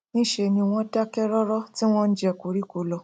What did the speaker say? nṣe ni wọn dákẹ rọrọ tí wọn n jẹ koríko lọ